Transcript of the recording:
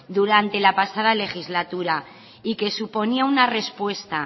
durante la pasada legislatura y que suponía una respuesta